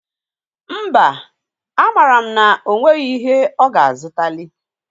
Mba, amara m na o nweghi ihi ọ ga-azụtalị.